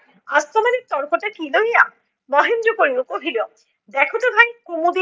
আজ তোমাদের তর্কটা কী লইয়া? মহেন্দ্র কইলো কহিলো দেখো তো ভাই কুমুদীনি